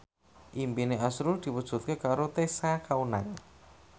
impine azrul diwujudke karo Tessa Kaunang